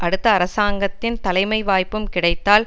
அடுத்த அரசாங்கத்தின் தலைமை வாய்ப்பும் கிடைத்தால்